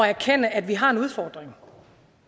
erkende at vi har en udfordring